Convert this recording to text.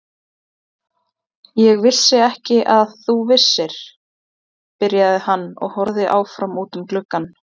Ég vissi ekki að þú vissir, byrjaði hann og horfði áfram út um gluggann.